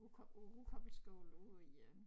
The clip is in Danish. Rugkobbel på Rugkobbelskolen ude i øh